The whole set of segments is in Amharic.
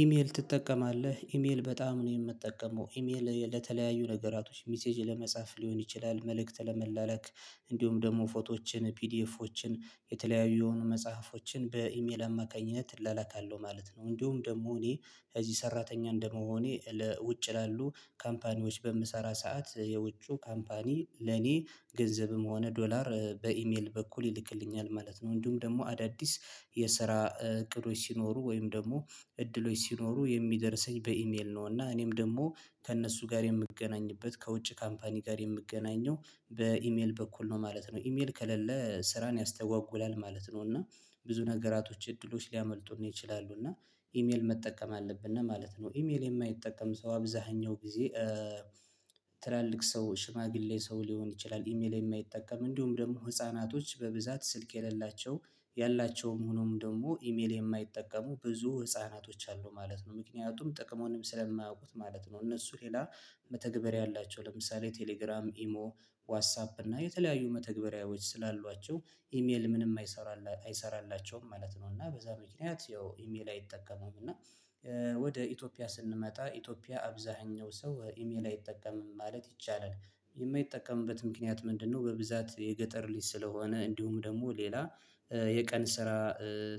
ኢሜል ትጠቀማለህ ኢሜል በጣም ነው የምጠቀመው ኢሜል ለተለያዩ ነገራቶች ሚሴጅ ለመጻፍ ሊሆን ይችላል መልእክት ለመላለክ እንዲሁም ደግሞ ፎቶዎችን ፒዲኤፎችን የተለያዩ የሆኑ መጽሐፎችን በኢሜል አማካኝነት እላላካለሁ ማለት ነው። እንዲሁም ደግሞ እኔ ከዚህ ሰራተኛ እንደመሆኔ ለውጭ ላሉ ካምፓኒዎች በምሰራ ሰዓት የውጩ ካምፓኒ ለኔ ገንዘብም ሆነ ዶላር በኢሜል በኩል ይልክልኛል ማለት ነው። እንዲሁም ደግሞ አዳዲስ የስራ እቅዶች ሲኖሩ ወይም ደግሞ እድሎች ሲኖሩ የሚደርሰኝ በኢሜል ነው እና እኔም ደግሞ ከእነሱ ጋር የምገናኝበት ከውጭ ካምፓኒ ጋር የምገናኘው በኢሜል በኩል ነው ማለት ነው። ኢሜል ከሌለ ስራን ያስተጓጉላል ማለት ነው። እና ብዙ ነገራቶች እድሎች ሊያመልጡን ይችላሉ እና ኢሜል መጠቀም አለብን ነው ማለት ነው። ኢሜል የማይጠቀም ሰው አብዛኛው ጊዜ ትላልቅ ሰው ሽማግሌ ሰው ሊሆን ይችላል። ኢሜል የማይጠቀም እንዲሁም ደግሞ ህፃናቶች በብዛት ስልክ የሌላቸው ያላቸውም ሆኖም ደግሞ ኢሜል የማይጠቀሙ ብዙ ህፃናቶች አሉ ማለት ነው። ምክንያቱም ጥቅሙንም ስለማያውቁት ማለት ነው። እነሱ ሌላ መተግበር ያላቸው ለምሳሌ ቴሌግራም ኢሞ ዋጻፕ እና የተለያዩ ምንም አይሰራልም ማለት ነው። እና በዛ ምክንያት ያው ኢሜል አይጠቀሙም እና ወደ ኢትዮጵያ ስንመጣ ኢትዮጵያ አብዛኛው ሰው ኢሜል አይጠቀምም ማለት ይቻላል። የማይጠቀምበት ምክንያት ምንድነው? በብዛት የገጠር ልጅ ስለሆነ እንዲሁም ደግሞ ሌላ የቀን ስራ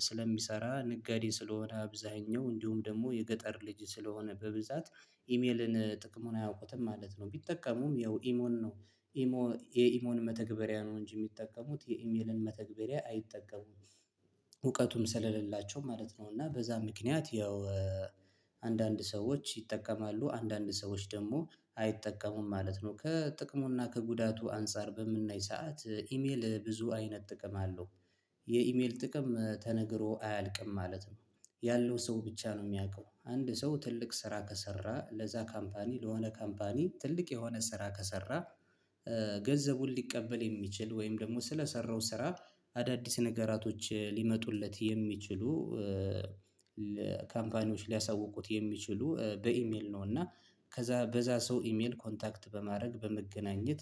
ስለሚሰራ ነጋዴ ስለሆነ አብዛኛው እንዲሁም ደግሞ የገጠር ልጅ ስለሆነ በብዛት ኢሜልን ጥቅሙን አያውቁትም ማለት ነው። ቢጠቀሙም ያው ኢሞን ነው ኢሞ የኢሞን መተግበሪያ ነው እንጂ የሚጠቀሙት የኢሜልን መተግበሪያ አይጠቀሙም። እውቀቱም ስለሌላቸው ማለት ነው እና በዛ ምክንያት ያው አንዳንድ ሰዎች ይጠቀማሉ አንዳንድ ሰዎች ደግሞ አይጠቀሙም ማለት ነው። ከጥቅሙና ከጉዳቱ አንፃር በምናይ ሰዓት ኢሜል ብዙ አይነት ጥቅም አለው። የኢሜል ጥቅም ተነግሮ አያልቅም ማለት ነው። ያለው ሰው ብቻ ነው የሚያውቀው አንድ ሰው ትልቅ ስራ ከሰራ ለዛ ካምፓኒ ለሆነ ካምፓኒ ትልቅ የሆነ ስራ ከሰራ። ገንዘቡን ሊቀበል የሚችል ወይም ደግሞ ስለሰራው ስራ አዳዲስ ነገራቶች ሊመጡለት የሚችሉ ካምፓኒዎች ሊያሳውቁት የሚችሉ በኢሜል ነው። እና ከዛ በዛ ሰው ኢሜል ኮንታክት በማድረግ በመገናኘት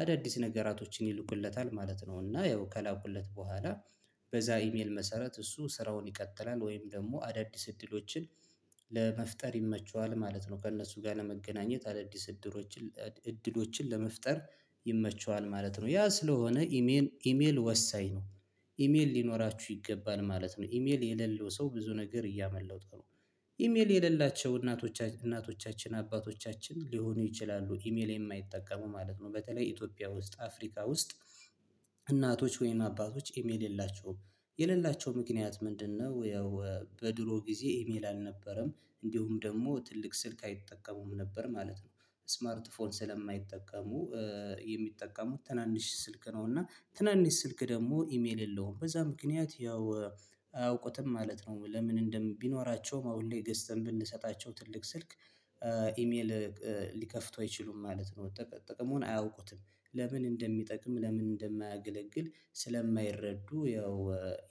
አዳዲስ ነገራቶችን ይልቁለታል ማለት ነው። እና ያው ከላኩለት በኋላ በዛ ኢሜል መሰረት እሱ ስራውን ይቀጥላል ወይም ደግሞ አዳዲስ እድሎችን ለመፍጠር ይመቸዋል ማለት ነው። ከእነሱ ጋር ለመገናኘት አዳዲስ እድሎችን እድሎችን ለመፍጠር ይመቸዋል ማለት ነው። ያ ስለሆነ ኢሜል ኢሜል ወሳኝ ነው። ኢሜል ሊኖራችሁ ይገባል ማለት ነው። ኢሜል የሌለው ሰው ብዙ ነገር እያመጠው ነው። ኢሜል የሌላቸው እናቶቻችን እናቶቻችን አባቶቻችን ሊሆኑ ይችላሉ ኢሜል የማይጠቀሙ ማለት ነው። በተለይ ኢትዮጵያ ውስጥ አፍሪካ ውስጥ እናቶች ወይም አባቶች ኢሜል የላቸውም። የሌላቸው ምክንያት ምንድነው? ያው በድሮ ጊዜ ኢሜል አልነበረም እንዲሁም ደግሞ ትልቅ ስልክ አይጠቀሙም ነበር ማለት ነው። ስማርት ፎን ስለማይጠቀሙ የሚጠቀሙት ትናንሽ ስልክ ነው እና ትናንሽ ስልክ ደግሞ ኢሜል የለውም በዛ ምክንያት ያው አያውቁትም ማለት ነው። ለምን እንደም ቢኖራቸውም አሁን ላይ ገዝተን ብንሰጣቸው ትልቅ ስልክ ኢሜል ሊከፍቱ አይችሉም ማለት ነው። ጥቅሙን አያውቁትም። ለምን እንደሚጠቅም ለምን እንደማያገለግል ስለማይረዱ ያው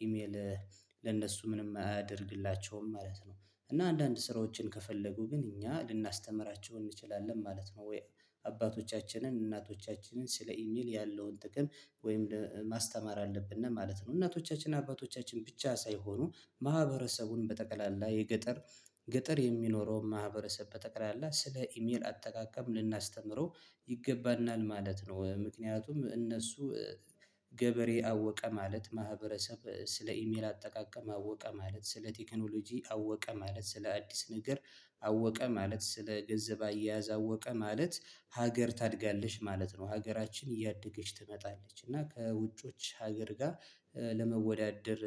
ኢሜል ለእነሱ ምንም አያደርግላቸውም ማለት ነው። እና አንዳንድ ስራዎችን ከፈለጉ ግን እኛ ልናስተምራቸው እንችላለን ማለት ነው። ወይ አባቶቻችንን እናቶቻችንን ስለ ኢሚል ያለውን ጥቅም ወይም ማስተማር አለብን ነው ማለት ነው። እናቶቻችን አባቶቻችን ብቻ ሳይሆኑ ማህበረሰቡን በጠቅላላ የገጠር ገጠር የሚኖረው ማህበረሰብ በጠቅላላ ስለ ኢሜል አጠቃቀም ልናስተምረው ይገባናል ማለት ነው። ምክንያቱም እነሱ ገበሬ አወቀ ማለት ማህበረሰብ ስለ ኢሜል አጠቃቀም አወቀ ማለት ስለ ቴክኖሎጂ አወቀ ማለት ስለ አዲስ ነገር አወቀ ማለት ስለ ገንዘብ አያያዝ አወቀ ማለት ሀገር ታድጋለች ማለት ነው። ሀገራችን እያደገች ትመጣለች እና ከውጮች ሀገር ጋር ለመወዳደር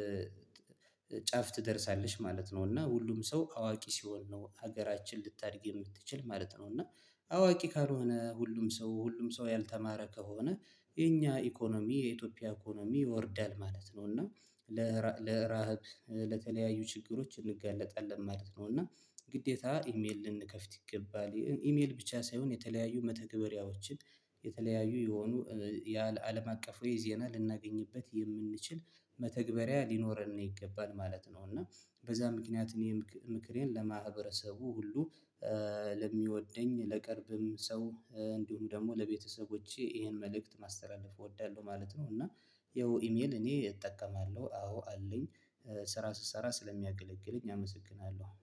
ጫፍ ትደርሳለሽ ማለት ነው። እና ሁሉም ሰው አዋቂ ሲሆን ነው ሀገራችን ልታድግ የምትችል ማለት ነው። እና አዋቂ ካልሆነ ሁሉም ሰው ሁሉም ሰው ያልተማረ ከሆነ የኛ ኢኮኖሚ የኢትዮጵያ ኢኮኖሚ ይወርዳል ማለት ነው። እና ለራብ ለተለያዩ ችግሮች እንጋለጣለን ማለት ነው። እና ግዴታ ኢሜል ልንከፍት ይገባል ኢሜል ብቻ ሳይሆን የተለያዩ መተግበሪያዎችን የተለያዩ የሆኑ ያለ አለም አቀፍ ወይ ዜና ልናገኝበት የምንችል መተግበሪያ ሊኖረን ነው ይገባል ማለት ነው። እና በዛ ምክንያት እኔ ምክሬን ለማህበረሰቡ ሁሉ ለሚወደኝ ለቅርብም ሰው እንዲሁም ደግሞ ለቤተሰቦቼ ይሄን መልእክት ማስተላለፍ እወዳለሁ ማለት ነው። እና ይኸው ኢሜል እኔ እጠቀማለሁ አዎ አለኝ። ስራ ስሰራ ስለሚያገለግልኝ አመሰግናለሁ